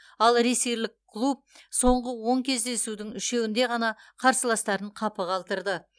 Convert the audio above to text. ал ресейлік клуб соңғы он кездесудің үшеуінде ғана қарсыластарын қапы қалдырды